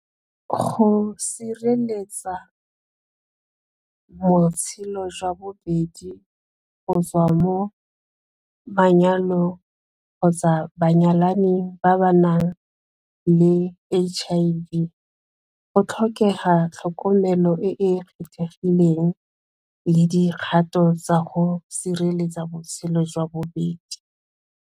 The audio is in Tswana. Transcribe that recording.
Go sireletsa jwa bobedi go tswa mo manyalong kgotsa banyalani ba ba nang le H_I_V go tlhokega tlhokomelo e e kgethegileng le dikgato tsa go sireletsa botshelo jwa bobedi.